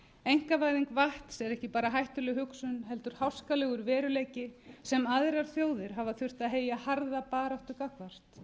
einkavæðing vatns er ekki bar hættuleg hugsun heldur háskalegur veruleiki sem aðrar þjóðir hafa þurft að heyja harða baráttu gagnvart bólivía